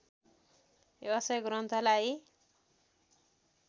यसै ग्रन्थलाई